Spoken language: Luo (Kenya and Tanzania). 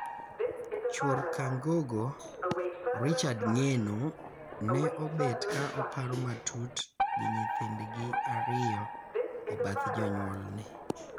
Chuor Kangogo, Richard Ngeno, ne obet ka oparo matut gi nyithindgi ariyo e bath jonyuolne.